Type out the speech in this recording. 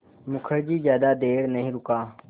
मुखर्जी ज़्यादा देर नहीं रुका